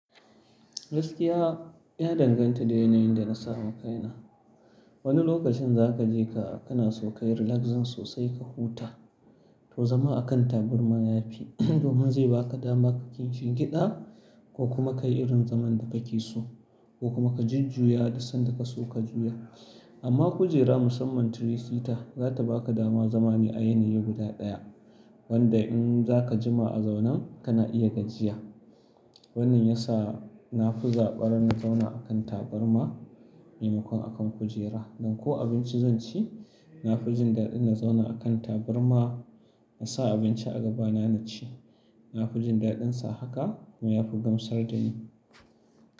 Gaskiya, ya danganta da yanayin da na samu kaina. Wani lokacin za ka je ka, kana so ka yi relazin sosai ka huta, to zama a kan taburma ya fi, domin zai ba ka dama ka kinshi gida ko kuma ka yi irin zaman da ka ke so, ko kuma ka jijjuya sanda ka so ka juya. Amma kujera musamman tiri-sita za ta ba ka dama za me ai nihin guda ɗaya wanda in za ka jima a zaunan, kana iya gajiya. Wannan ya sa, na fi zabar na zauna a kan taburma maimakon a kan kujera. Dan ko abinci zan ci, na fijin daɗin na zauna a kan taburma na sa abinci a gaba na na ci. Na fijin daɗinsa haka kuma ya fi gamsar da ni.